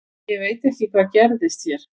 Ég veit ekki hvað gerðist hér.